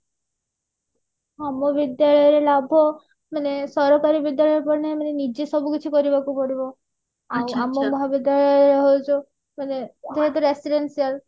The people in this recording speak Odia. ଆମ ବିଦ୍ୟାଳୟ ଲାଭ ମାନେ ସରକାରୀ ବିଦ୍ୟାଳୟ ନିଜେ ସବୁ କିଛି କରିବାକୁ ପଡିବ ଆଉ ଆମ ମହାବିଦ୍ୟାଳୟ ହଉଛି ମାନେ ଯେହେତୁ residential